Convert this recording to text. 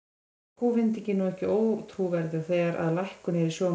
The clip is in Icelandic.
Er kúvendingin nú ekki ótrúverðug, þegar að lækkun er í sjónmáli?